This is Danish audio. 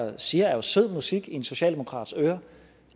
her siger jo er sød musik i en socialdemokrats ører